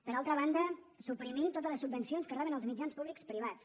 per altra banda suprimir totes les subvencions que reben els mitjans públics privats